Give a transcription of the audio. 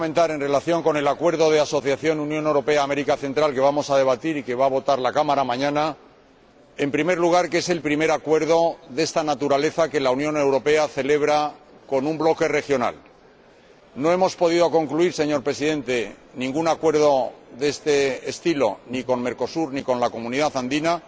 En relación con el Acuerdo de Asociación entre la Unión Europea y Centroamérica que hoy debatimos y que mañana va a votar la Cámara, quisiera comentar, en primer lugar, que es el primer acuerdo de esta naturaleza que la Unión Europea celebra con un bloque regional no hemos podido concluir, señor Presidente, ningún acuerdo de estas características ni con Mercosur ni con la Comunidad Andina,